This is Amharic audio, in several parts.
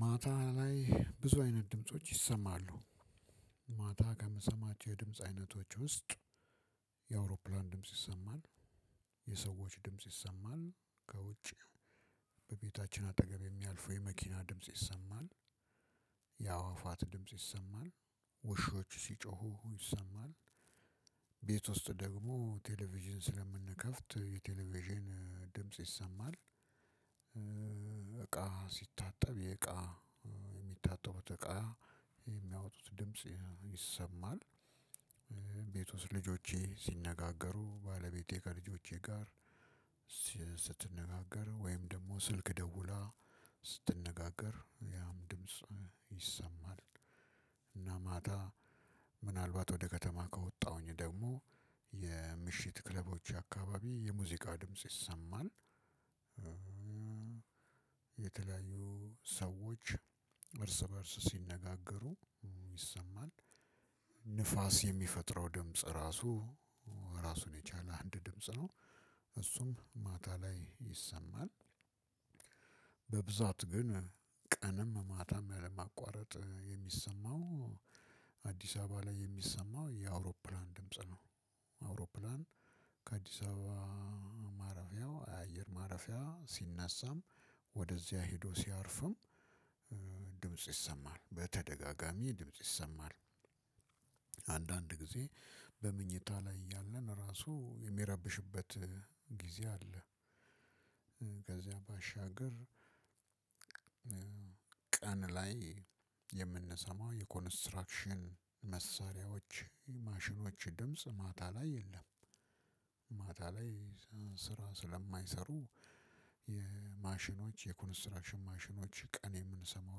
ማታ ላይ ብዙ አይነት ድምጾች ይሰማሉ። ማታ ከምሰማቸው የድምጽ አይነቶች ውስጥ የአውሮፕላን ድምጽ ይሰማል። የሰዎች ድምጽ ይሰማል ከውጭ። በቤታችን አጠገብ የሚያልፈው የመኪና ድምጽ ይሰማል። ያዋፋት ድምጽ ይሰማል። ውሾች ሲጮሁ ይሰማል። ቤት ውስጥ ደግሞ ቴሌቪዥን ስለምንከፍት የቴሌቪዥን ድምጽ ይሰማል። እቃ ሲታጠብ የእቃ የሚታጠቡት እቃ የሚያወጡት ድምጽ ይሰማል። ቤት ውስጥ ልጆቼ ሲነጋገሩ ባለቤቴ ከልጆቼ ጋር ስትነጋገር ወይም ደግሞ ስልክ ደውላ ስትነጋገር ያም ድምጽ ይሰማል። እና ማታ ምናልባት ወደ ከተማ ከወጣሁኝ ደግሞ የምሽት ክለቦች አካባቢ የሙዚቃ ድምጽ ይሰማን። የተለያዩ ሰዎች እርስ በእርስ ሲነጋገሩ ይሰማል። ንፋስ የሚፈጥረው ድምጽ ራሱ ራሱን የቻለ አንድ ድምጽ ነው እሱም ማታ ላይ ይሰማል። በብዛት ግን ቀንም። አዲስ አበበ ላይ የሚሰማው የአውሮፕላን ድምጽ ነው። አውሮፕላን የአዲስአበባ ማረፊያው የአየር ማረፊያ ሲነሳም ወደዛ ሄዶም ሲያርፋም ድምጽ ይሰማል በተደጋጋሚ ድምጽ ይሰማል። አንዳንድ ጊዜ በመኝታ ላይ እያልን እራሱ የሚረብሹበት ጊዜ አለ። ከዛን ባሻገር። ቀን ላይ የምንሰማው የኮንስትራክሽን መሳሪያዎች ማሽኞች ድምጽ ማታ ላይ የለም። ማታ ላይ ስራ ስለማይሰሩ የማሽኞች የኮንስትራክሽን ማሽኞች ቀን የምንሰማው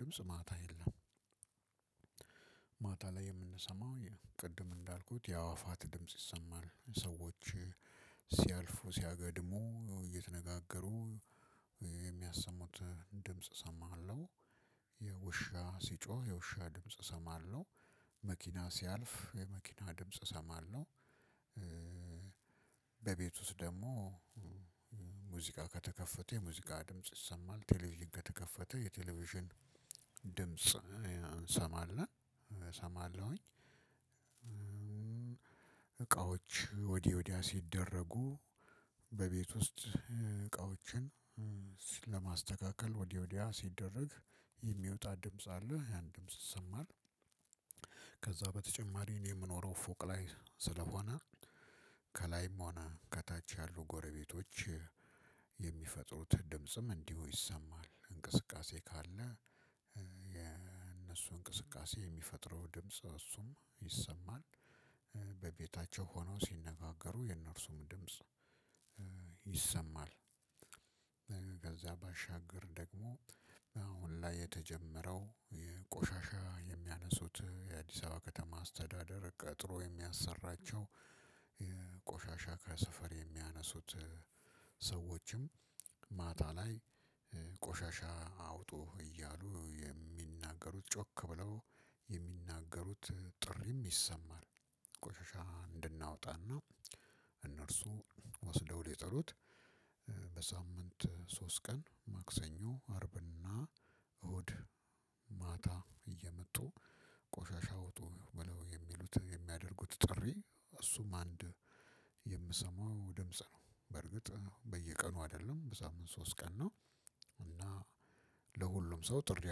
ድምጽ ማታ የለም። ማታ ላይ የምንሰማው ቅድም እንዳልኩት ያዋፋት ድምጽ ይሰማል። ሰዎች ሲያልፉ ሲያገድሙ እየተነጋገሩ የሚያሰሙት ድምጽ እሰማሃለሁ። የውሻ ሲጮህ የውሻ ድምጽ እሰማለሁ። መኪና ሲያልፍ የመኪና ድምጽ እሰማለሁ። በቤት ውስጥ ደግሞ ሙዚቃ ከተከፈተ የሙዚቃ ድምጽ ይሰማል ቴሌቪዥን ከተከፈተ የቴሌቪዥን ድምጽ እንሰማለን እሰማለሁኝ። እቃዎች ወዲህ ወዲያ ሲደረጉ በቤት ውስጥ እቃዎችን ሲል ለማስተካከል ወዲህ ወዲያ ሲደረግ የሚወጣ ድምጽ አለ ያን ድምጽ ይሰማል። ከዛ በተጨማሪ እኔ የምኖረው ፎቅ ላይ ስለሆነ። ከላይም ሆነ ከታች ያሉ ጎረቤቶች የሚፈጥሩት ድምጽም እንዲሁ ይሰማል እንቅስቃሴ ካለ የእነሱ እንቅስቃሴ የሚፈጥረው ድምጽ እሱም ይሰማል። በቤታችን ሆነው ሲነጋገሩ የእነርሱም ድምጽ ይሰማል። ባሻገር ደግሞ አሁን ላይ የተጀመረው ቆሻሻ የሚያነሱት የአዲስአበባ ከተማ አስተዳደር ቀጥሮ የሚያሰራቸው ቆሻሻ ከሰፈር የሚያነሱ ሰዎች ማታ ላይ ቆሻሻ አውጦ እያሉ የሚናገሩት ጮክ ብለው የሚናገሩት ጥሪም ይሰማል። ቆሻሻ እንድናወጣና እነርሱ ወስደው ሊጥሉች በሳምንት ሶስት ቀን ማክሰኞ አርብና እሁድ ማታ እየመጡ ቆሻሻ አውጡ ብለው የሚሉት የሚያደርጉት ጥሪ እሱም አንድ የምሰማው ድምጽ ነው። በርግጥ በየቀኑ አይደለም በሳምንት ሶስት ቀን ነው። እና ለሁሉም ሰው ጥሪ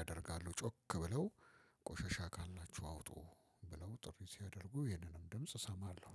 ያደርጋሉ ጮክ ብለው ቆሸሻ ካላችሁ አውጡ ብለው ጥሪ ሲያደርጉ ይሄንንም ድምጽ እሰማለሁ።